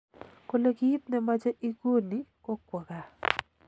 Kole kit nemoche iguni ko kwo gaa